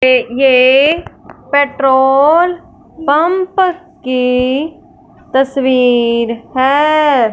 ये ये petrol pump की तस्वीर हैं।